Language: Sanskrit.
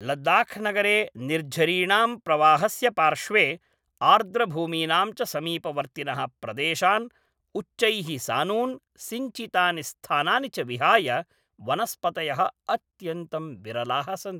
लद्दाख् नगरे निर्झरीणां प्रवाहस्य पार्श्वे, आर्द्रभूमीनां च समीपवर्तिनः प्रदेशान्, उच्चैः सानून्, सिञ्चितानि स्थानानि च विहाय वनस्पतयः अत्यन्तं विरलाः सन्ति।